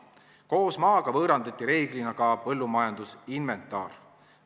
Koos maaga võõrandati reeglina ka põllumajandusinventar.